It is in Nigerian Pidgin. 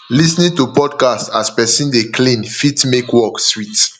lis ten ing to podcast as person dey clean fit make work sweet